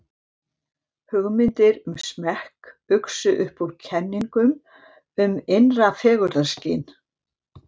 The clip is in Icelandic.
Hugmyndir um smekk uxu upp úr kenningum um innra fegurðarskyn.